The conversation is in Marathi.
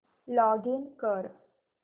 लॉगिन कर